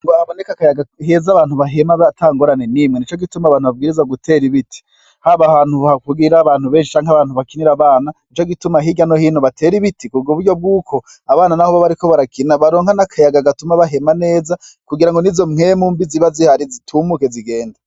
Kugira haboneke akayaga keza abantu bahema atangorane nimwe nico gituma abantu babwirizwa gutera ibiti haba ahantu havugira abantu benshi canke abantu bakiri abana nico gituma hirya no hino batera ibiti kuburyo bwuko abana nabo bariko barakina baronka n'akayaga gatuma bahema neza kugirango nizo mpwemu mbi ziba zihari zitumuke zigende.